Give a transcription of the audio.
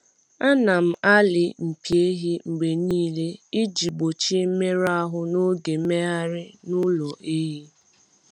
A na-alị A na-alị mpi ehi mgbe niile iji gbochie mmerụ ahụ n’oge mmegharị n’ụlọ ehi.